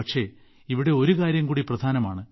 പക്ഷേ ഇവിടെ ഒരു കാര്യംകൂടി പ്രധാനമാണ്